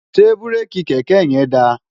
ṣé búréèkì kẹ̀kẹ́ yẹn da?